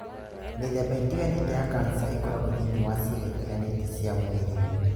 Mĩthemba ĩtiganĩte ya kansa ĩkoragwo thĩinĩ wa ciĩga itiganĩte cia mwĩrĩ